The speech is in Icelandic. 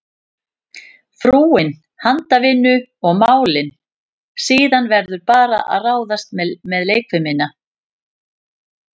Frúin handavinnu og málin, síðan verður bara að ráðast með leikfimina.